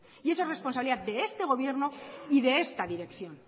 y esa resposabilidad de este gobierno y de esta dirección